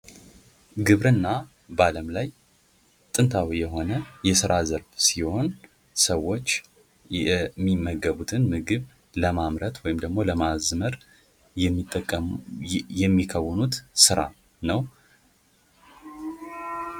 ግብርና በአለም ላይ ጥንታዊ የሆነ የስራ ዘርፍ ሲሆን፤ ሰዎች የሚመገቡትን ምግብ ለማምረት ወይም ደግሞ ለማዝመር የሚከውኑት ስራ ነው።